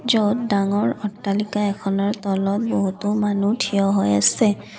য'ত ডাঙৰ অট্টালিকা এখনৰ তলত বহুতো মানুহ থিয় হৈ আছে।